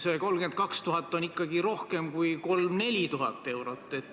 See 32 000 on ikkagi rohkem kui 3000–4000 eurot.